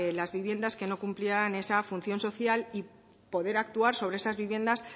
las viviendas que no cumplieran esa función social y poder actuar sobre esas viviendas